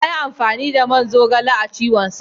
Yayi amfani da man zaiton a ciwonsa.